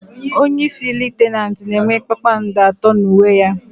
Onyeisi Litenant na enwe kpakpando atọ n'uwe ya